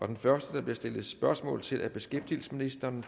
den første der bliver stillet spørgsmål til er beskæftigelsesministeren og